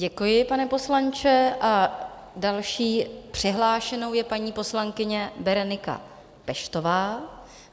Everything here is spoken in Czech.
Děkuji, pane poslanče, a další přihlášenou je paní poslankyně Berenika Peštová.